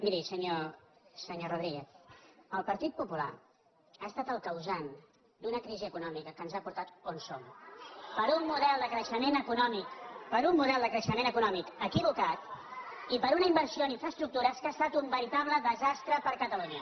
miri senyor rodríguez el partit po·pular ha estat el causant d’una crisi econòmica que ens ha portat on som per un model de crei·xement econòmic per un model de creixement econò·mic equivocat i per una inversió en infraestructures que ha estat un veritable desastre per a catalunya